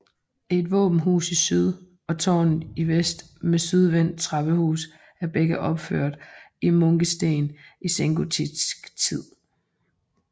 Et våbenhus i syd og tårnet i vest med sydvendt trappehus er begge opført i munkesten i sengotisk tid